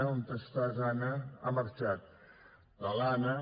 on estàs anna ha marxat de l’anna